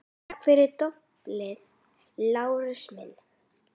Takk fyrir doblið, Lárus minn